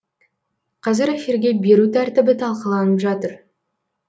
қазір эфирге беру тәртібі талқыланып жатыр